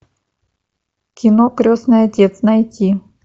кино крестный отец найти